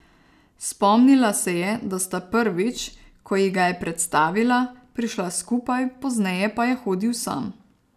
Spomnila se je, da sta prvič, ko ji ga je predstavila, prišla skupaj, pozneje pa je hodil sam.